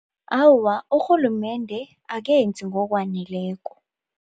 Awa, urhulumende akenzi ngokwaneleko.